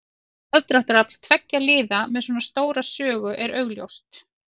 Aðdráttarafl tveggja liða með svona stóra sögu er augljóst.